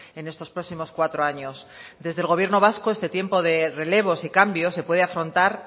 en estos próximos cuatro años desde el gobierno vasco este tiempo de relevos y cambios se puede afrontar